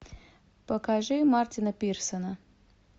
покажи мартина пирсена